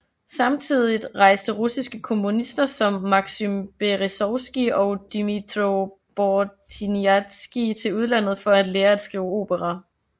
Samtidigt rejste russiske komponister som Maksym Berezovskij og Dmytro Bortnianskij til udlandet for at lære at skrive opera